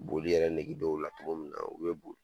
Boli yɛrɛ nege dɔw la togo min na u bɛ bɔ